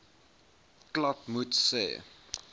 klapmuts sê